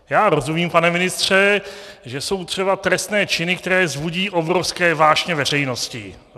Já rozumím, pane ministře, že jsou třeba trestné činy, které vzbudí obrovské vášně veřejnosti.